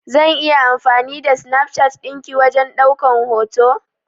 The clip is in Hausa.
Zan iya amfani da Snapchat din ki wajen daukan hoto?